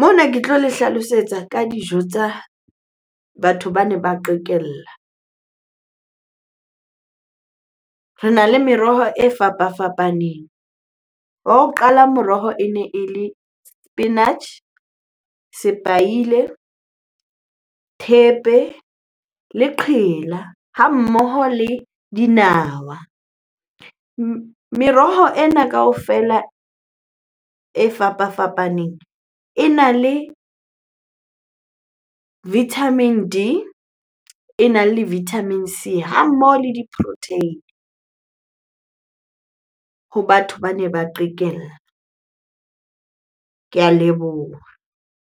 Mona ke tlo le hlalosetsa ka dijo tsa batho bane ba qekella. Rena le meroho e fapafapaneng. Wa ho qala moroho ene e le spinach, sepaile, thepe le qhela ha mmoho le dinawa. Meroho e na kaofela e fapafapaneng e na le vitamin D, e na le vitamin C ha mmoho le di-protein-e ho batho bane ba qekella. Ke a leboha.